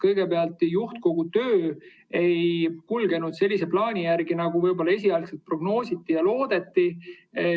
Kõigepealt, juhtkogu töö ei kulgenud sellise plaani järgi, nagu võib-olla esialgu prognoositi ja loodeti.